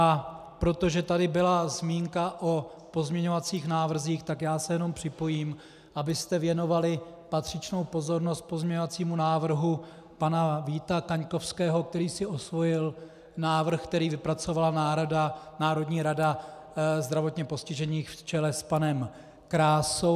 A protože tady byla zmínka o pozměňovacích návrzích, tak já se jenom připojím, abyste věnovali patřičnou pozornost pozměňovacímu návrhu pana Víta Kaňkovského, který si osvojil návrh, který vypracovala Národní rada zdravotně postižených v čele s panem Krásou.